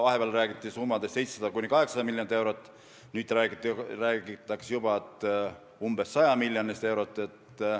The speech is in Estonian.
Vahepeal räägiti 700–800 miljonist eurost, nüüd räägitakse juba umbes 100 miljonist eurost.